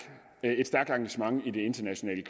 engagement i det internationale